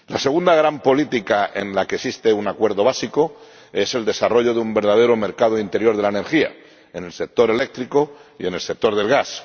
La segunda gran política en la que existe un acuerdo básico es el desarrollo de un verdadero mercado interior de la energía en el sector eléctrico y en el sector del gas.